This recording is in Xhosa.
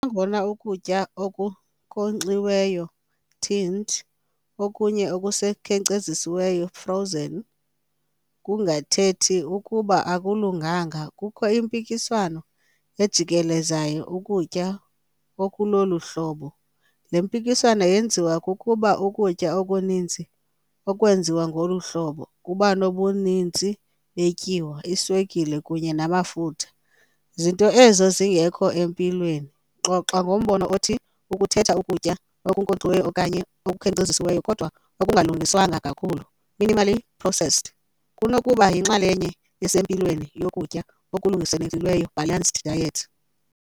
Nangona ukutya okunkonxiweyo, tinned, okunye ekusekhenkcezisiweyo, frozen, kungathethi ukuba akulunganga, kukho impikiswano ejikelezayo ukutya okulolu hlobo. Le mpikiswano yenziwa kukuba ukutya okuninzi okwenziwe ngolu hlobo kuba nobuninzi betyiwa, iswekile kunye namafutha, zinto ezo zingekho empilweni. Xoxa ngombono othi ukukhetha ukutya okunkonxiweyo okanye okukhenkcezisiweyo kodwa okungalungiswanga kakhulu, minimally processed, kunokuba yinxalenye esempilweni yokutya okulungelelanisiweyo, balanced diet.